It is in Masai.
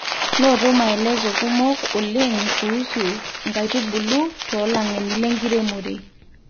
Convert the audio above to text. noto maeleso kumok oleng kuusu nkaitubulu too lageni le nkiremore